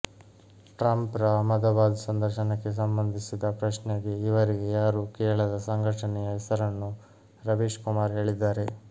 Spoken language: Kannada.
ಟ್ರಂಪ್ರ ಅಹ್ಮದಾಬಾದ್ ಸಂದರ್ಶನಕ್ಕೆ ಸಂಬಂಧಿಸಿದ ಪ್ರಶ್ನೆಗೆ ಈವರೆಗೆ ಯಾರೂ ಕೇಳದ ಸಂಘಟನೆಯ ಹೆಸರನ್ನು ರವೀಶ್ ಕುಮಾರ್ ಹೇಳಿದ್ದಾರೆ